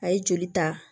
A ye joli ta